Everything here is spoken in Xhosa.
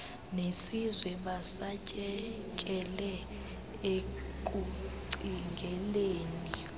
nesizwe basatyekele ekucingeleni